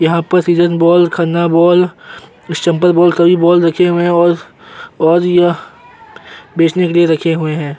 यहाँ पर season ball Khanna ball sample ball सभी बॉल रखे हुए हैं और और यह बेचने के लिए रखे हुए हैं।